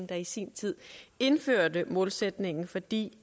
der i sin tid indførte målsætningen fordi